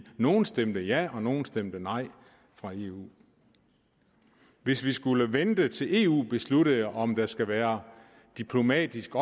nogle stemte ja og nogle stemte nej i eu hvis vi skulle vente til eu besluttede om der skal være diplomatisk